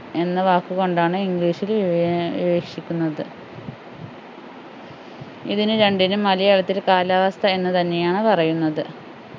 എന്ന വാക്കു കൊണ്ടാണ് english ൽ ഏർ വിവേ വീവക്ഷിക്കുന്നത് ഇതിനു രണ്ടിനും മലയാളത്തിൽ കാലാവസ്ഥ എന്നു തന്നെയാണ് പറയുന്നത്